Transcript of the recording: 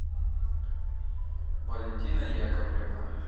валентина яковлевна